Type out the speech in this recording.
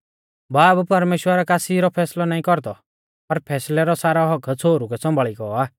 बाब परमेश्‍वर कासी रौ फैसलौ नाईं कौरदौ पर फैसलै रौ सारौ हक्क्क छ़ोहरु कै सौंभाल़ी गौ आ